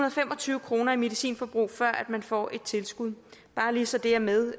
og fem og tyve kroner i medicinforbrug før man får et tilskud bare lige så det er med